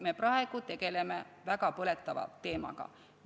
Me praegu tegeleme väga põletava teemaga.